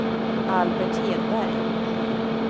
Albert Hedberg